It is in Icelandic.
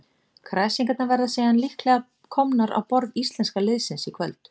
Kræsingarnar verða síðan líklega komnar á borð íslenska liðsins í kvöld.